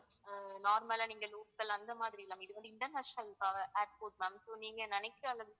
அஹ் normal லா நீங்க local அந்த மாதிரி இல்ல ma'am இதுவந்து international airport ma'am so நீங்க நினைக்கிற அளவிற்கு